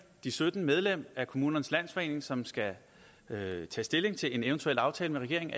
de sytten medlemmer af kommunernes landsforening som skal tage stilling til en eventuel aftale med regeringen